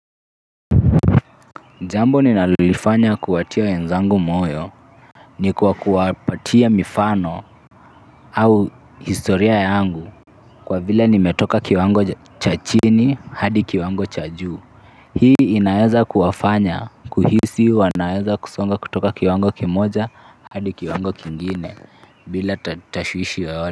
Jambo ninalolifanya kuwatia wenzangu moyo, ni kwa kuwapatia mifano au historia yangu kwa vile nimetoka kiwango cha chini hadi kiwango cha juu. Hii inaeza kuwafanya kuhisi wanaeza kusonga kutoka kiwango kimoja hadi kiwango kingine bila tashwishi yeyote.